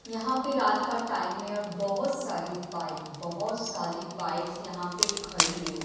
यहां पे रात का टाइम में बहुत सारी बाइक बहुत सारी बाइक्स यहां पे खड़ी है।